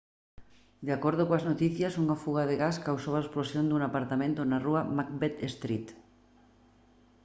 de acordo coas noticias unha fuga de gas causou a explosión dun apartamento na rúa macbeth street